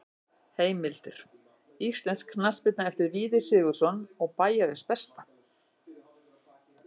Heimildir: Íslensk knattspyrna eftir Víði Sigurðsson og Bæjarins besta.